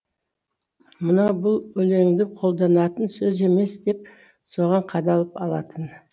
мынау бұл өлеңде қолданатын сөз емес деп соған қадалып алатын